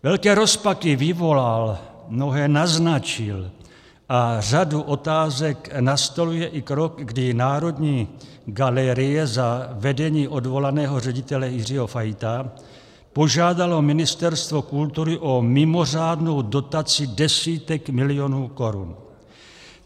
Velké rozpaky vyvolal, mnohé naznačil a řadu otázek nastoluje i krok, kdy Národní galerie za vedení odvolaného ředitele Jiřího Fajta požádala Ministerstvo kultury o mimořádnou dotaci desítek milionů korun.